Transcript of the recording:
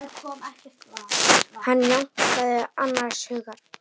Hann jánkaði annars hugar.